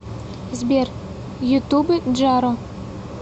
сбер ютуб джаро